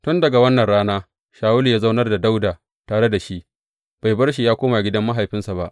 Tun daga wannan rana Shawulu ya zaunar da Dawuda tare da shi, bai bar shi ya koma gidan mahaifinsa ba.